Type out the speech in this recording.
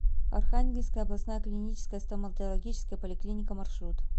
архангельская областная клиническая стоматологическая поликлиника маршрут